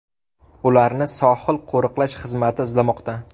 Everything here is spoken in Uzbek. Ularni sohil qo‘riqlash xizmati izlamoqda.